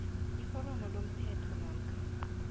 iforomo lomthelo namkha